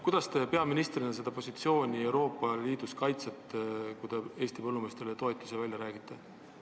Kuidas te peaministrina seda positsiooni Euroopa Liidus kaitsete, kui te Eesti põllumeestele toetusi välja kauplete?